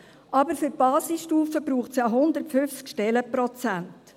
Für die Basisstufe braucht es aber 150 Stellenprozent.